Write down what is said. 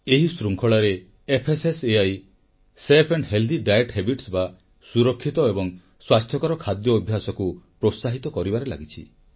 ଏହି ଶୃଙ୍ଖଳାରେ ଏଫଏସଏସଇ ସୁରକ୍ଷିତ ଏବଂ ସ୍ୱାସ୍ଥ୍ୟକର ଖାଦ୍ୟ ଅଭ୍ୟାସକୁ ପ୍ରୋତ୍ସାହିତ କରିବାରେ ଲାଗିଛି